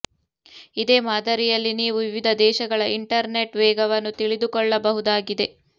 ಇದೇ ಮಾದರಿಯಲ್ಲಿ ನೀವು ವಿವಿಧ ದೇಶಗಳ ಇಂಟರ್ ನೆಟ್ ವೇಗವನ್ನು ತಿಳಿದುಕೊಳ್ಳಬಹುದಾಗಿದೆ